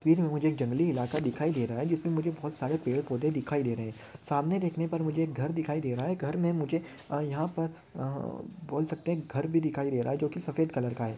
फिर मुझे एक जंगली इलाका दिखाई दे रहा है जो की मुझे बहुत सारे पेड़ पौधे दिखाई दे रहे है सामने देखने पर मुझे एक घर दिखाई दे रहा है घर मे मुझे यहाँ पर अह बोल सकते है घर भी दिखाई दे रहा है जो की सफ़ेद कलर का है।